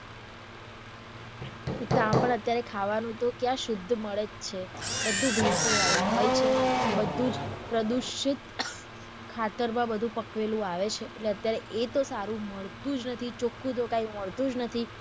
એક આમ પણ અત્યારે ખાવાનું તો ક્યાં શુદ્ધ જ મળે છે બધું વાળું હોય છે, બધું જ પ્રદુષિત ખાતર માં બધું પકવેલું આવે છે એટલે અત્યારે એ તો સારું માંડતુ જ નથી, ચોખ્ખું તો કાય મળતું જ નથી.